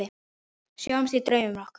Sjáumst í draumum okkar.